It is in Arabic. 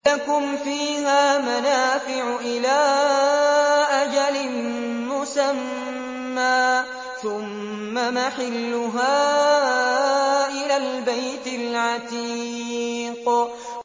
لَكُمْ فِيهَا مَنَافِعُ إِلَىٰ أَجَلٍ مُّسَمًّى ثُمَّ مَحِلُّهَا إِلَى الْبَيْتِ الْعَتِيقِ